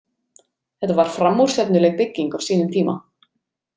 Þetta var framúrstefnuleg bygging á sínum tíma.